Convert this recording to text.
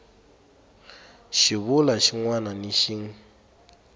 xivulwa xin wana na xin